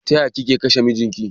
Tayaya kika kashe mijin ki?